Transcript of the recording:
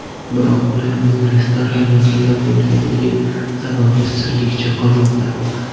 Biroq ularning restoran yaqinida bo‘lganligi sababi sirligicha qolmoqda.